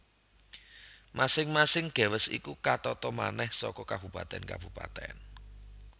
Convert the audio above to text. Masing masing gewest iku katata manèh saka kabupatèn kabupatèn